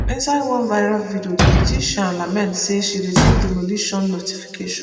inside one viral video di beautician lament say she receive demolition notification